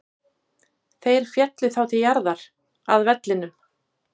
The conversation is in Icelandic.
Þeir féllu þá til jarðar, að vellinum.